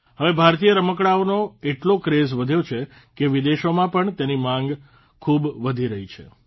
હવે ભારતીય રમકડાઓનો એટલો ક્રેઝ વધ્યો છે કે વિદેશોમાં પણ તેની માંગ ખૂબ વધી રહી છે